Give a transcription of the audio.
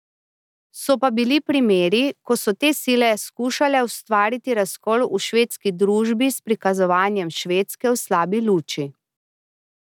So pa bili primeri, ko so te sile skušale ustvariti razkol v švedski družbi s prikazovanjem Švedske v slabi luči.